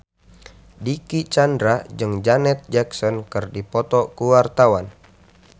Dicky Chandra jeung Janet Jackson keur dipoto ku wartawan